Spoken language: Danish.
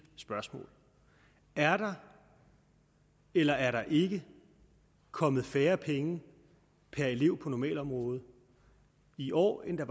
spørgsmål er der eller er der ikke kommet færre penge per elev på normalområdet i år end der